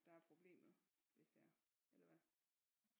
Der er problemet hvis det er eller hvad